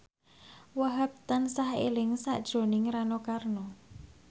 Wahhab tansah eling sakjroning Rano Karno